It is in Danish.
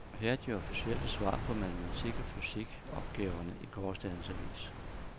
Her er de officielle svar på matematik og fysik opgaverne i gårsdagens avis.